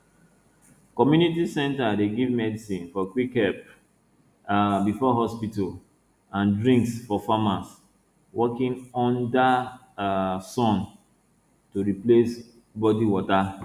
community center dey get medicine for quick help um before hospital and drinks for farmers working under um sun to replace body water